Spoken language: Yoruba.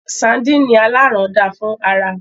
Sardini alaran da fún ara.